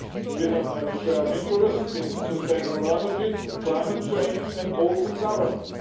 We have many shared interests in sustainable energy, climate change and ocean governance.